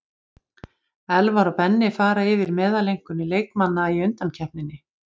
Elvar og Benni fara yfir meðaleinkunnir leikmanna í undankeppninni.